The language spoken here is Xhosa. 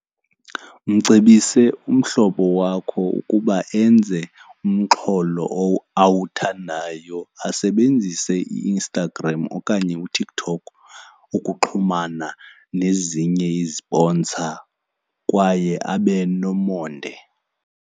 Mcebise umhlobo wakho ukuba enze umxholo awuthandayo. Asebenzise iInstagram okanye uTikTok ukuxhumana nezinye iziponsa kwaye abe nomonde.